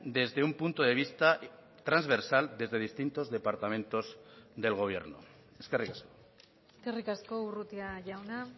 desde un punto de vista transversal desde distintos departamentos del gobierno eskerrik asko eskerrik asko urrutia jauna